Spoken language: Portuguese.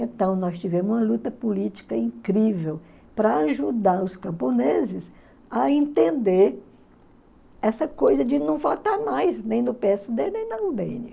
Então, nós tivemos uma luta política incrível para ajudar os camponeses a entender essa coisa de não votar mais, nem no pê ésse dê, nem na u dê enê